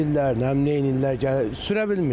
Sillər, nə bilim neyləyirlər, gəlir sürə bilmirik də.